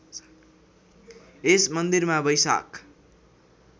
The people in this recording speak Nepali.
यस मन्दिरमा वैशाख